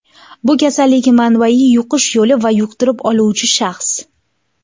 Bu kasallik manbayi, yuqish yo‘li va yuqtirib oluvchi shaxs.